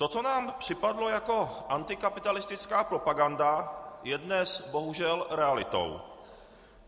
To, co nám připadalo jako antikapitalistická propaganda, je dnes bohužel realitou.